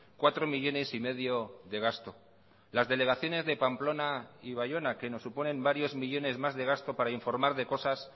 cuatro millónes y medio de gasto las delegaciones de pamplona y baiona que nos suponen varios millónes más de gasto para informar de cosas